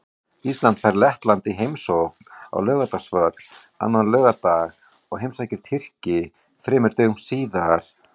Ísland fær Lettland í heimsókn á Laugardalsvöll annan laugardag og heimsækir Tyrki þremur dögum síðar.